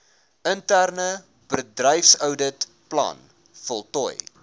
interne bedryfsouditplan voltooi